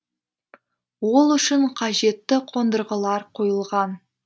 ол үшін қажетті қондырғылар қойылған